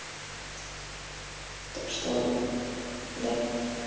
так что да